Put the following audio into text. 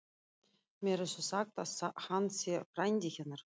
Mér er þó sagt að hann sé frændi hennar.